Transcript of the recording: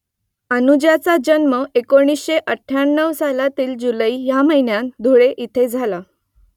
अनुजाचा जन्म एकोणीसशे अठ्ठ्याण्णव सालातील जुलै ह्या महिन्यात धुळे इथे झाला